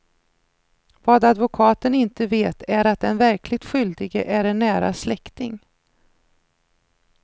Vad advokaten inte vet är att den verkligt skyldige är en nära släkting.